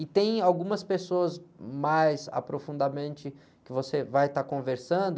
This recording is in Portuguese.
E tem algumas pessoas mais aprofundamente que você vai estar conversando,